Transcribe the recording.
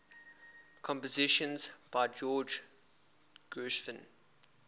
compositions by george gershwin